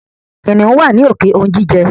Kìnìún wá ní òkè ounjijẹ.